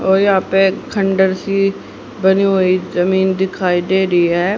और यहां पे खंडहर सी बनी हुई जमीन दिखाई दे रही है।